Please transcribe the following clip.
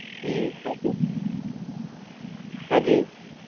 ઈ હતું હાજી.